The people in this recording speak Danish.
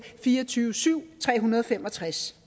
fire og tyve syv tre hundrede og fem og tres